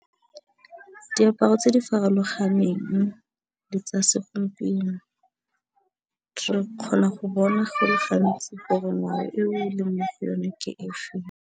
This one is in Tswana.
Diaparo tse di farologaneng tsa segompieno re kgona go bona go le gantsi gore ngwao eo e leng mo go yone ke efeng.